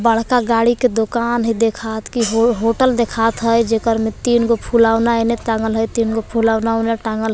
बड़का गाड़ी के दुकान हइ देखात कि हो होटल देखात हय जेकर मे तीन गो फूलौना एने टांगल हय तीन गो फूलौना ओने टांगल ह --